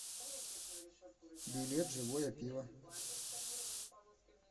билет живое пиво